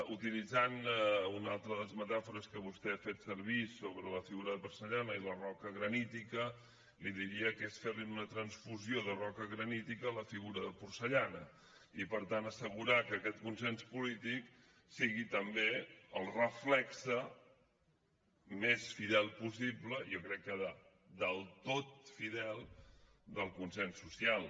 utilitzant una altra de les metàfores que vostè ha fet servir sobre la figura de porcellana i la roca granítica li diria que és fer una transfusió de roca granítica a la figura de porcellana i per tant assegurar que aquest consens polític sigui també el reflex més fidel possible jo crec que del tot fidel del consens social